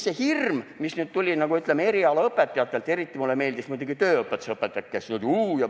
See hirm, mis tuli erialaõpetajatelt – eriti meeldisid mulle tööõpetuseõpetajad, kes ütlesid: "Huu!